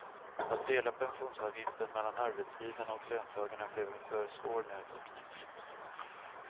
Att dela pensionsavgiften mellan arbetsgivarna och löntagarna blev en för svår nöt att knäcka.